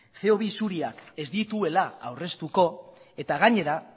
ce o bi isuriak ez dituela aurreztuko eta gainera